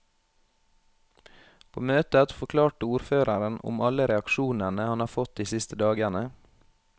På møtet forklarte ordføreren om alle reaksjonene han har fått de siste dagene.